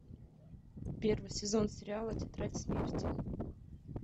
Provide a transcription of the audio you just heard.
первый сезон сериала тетрадь смерти